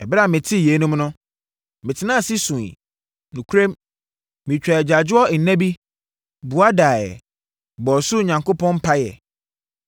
Ɛberɛ a metee yeinom no, metenaa ase suiɛ. Nokorɛm, metwaa agyaadwoɔ nna bi, bua daeɛ, bɔɔ ɔsoro Onyankopɔn mpaeɛ.